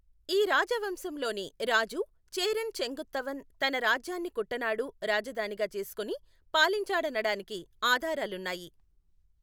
ఈ రాజవంశంలోని రాజు చేరన్ చెంగుత్తవన్ తన రాజ్యాన్ని కుట్టనాడు రాజధానిగా చేసుకుని పాలించాడనడానికి ఆధారాలున్నాయి.